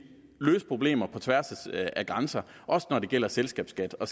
løse problemer på tværs af grænser også når det gælder selskabsskat og